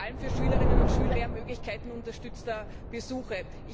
Wir brauchen vor allem für Schülerinnen und Schüler mehr Möglichkeiten unterstützter Besuche.